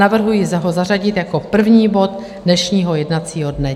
Navrhuji ho zařadit jako první bod dnešního jednacího dne.